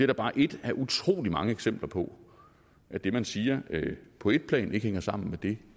da bare et af utrolig mange eksempler på at det man siger på et plan ikke hænger sammen med det